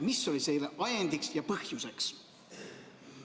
Mis oli selle ajendiks ja põhjuseks?